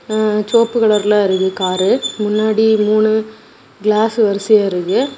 ம சோப்பு கலர்ல இருக்கு காரு பின்னாடி மூணு கிளாஸ் வரிசையா இருக்கு.